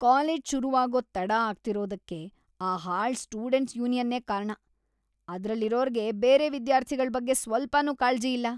College ಶುರುವಾಗೋದ್‌ ತಡ ಆಗ್ತಿರೋದಕ್ಕೆ ಆ ಹಾಳ್‌ ಸ್ಟೂಡೆಂಟ್ಸ್‌ ಯೂನಿಯನ್ನೇ ಕಾರಣ. ಅದ್ರಲ್ಲಿರೋರ್ಗೆ ಬೇರೆ ವಿದ್ಯಾರ್ಥಿಗಳ್‌ ಬಗ್ಗೆ ಸ್ವಲ್ಪನೂ ಕಾಳ್ಜಿ ಇಲ್ಲ.